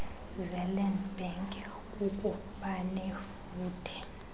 zeland bank kukubanefuthe